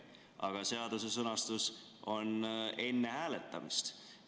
Aga seaduse sõnastus on "enne hääletamist".